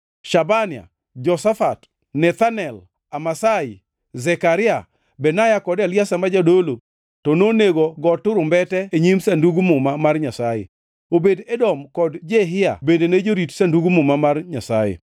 Shabania, Joshafat, Nethanel, Amasai, Zekaria, Benaya kod Eliezer ma jodolo, to nonego go turumbete e nyim Sandug Muma mar Nyasaye. Obed-Edom kod Jehia bende ne jorit od Sandug Muma mar Nyasaye.